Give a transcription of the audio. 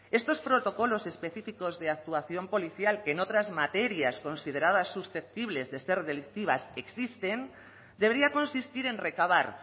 estos protocolos específicos de actuación policial que en otras materias consideradas susceptibles de ser delictivas existen debería consistir en recabar